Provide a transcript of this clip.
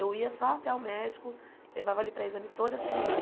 Eu ia só até o médico, levava ele para exame toda semana.